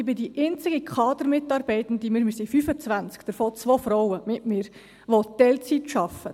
Ich bin die einzige Kadermitarbeitende – wir sind 25, davon mit mir zwei Frauen –, die Teilzeit arbeitet.